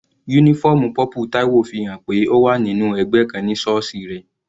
Uniform purple Taiwo fi hàn pé ó wà nínú ẹgbẹ́ kan ní sọọsi rẹ̀.